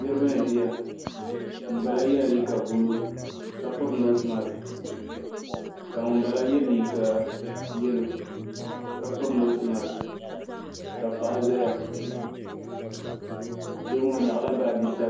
niriba n-ʒiya ŋun bala yela liiga buluu ka piri noosi mask ka ŋun bala ye liiga yeelo ka piri noosi masks ka paɣa zaya doo maa o nyaɣi la baaji sabinli.